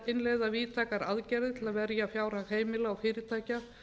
innleiða víðtækar aðgerðir til að verja fjárhag heimila og fyrirtækja